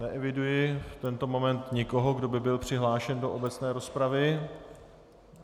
Neeviduji v tento moment nikoho, kdo by byl přihlášen do obecné rozpravy.